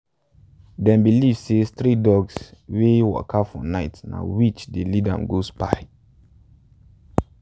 them believe say stray dogs wey waka for night na witch dey lead to go spy.